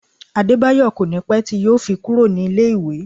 Adebayo kò ní pé tí yo fi kúrò ní ilé ìwé